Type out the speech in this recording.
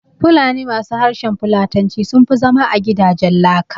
Fulani ma su harshen Fulatanci sunfi zama a gidajen laka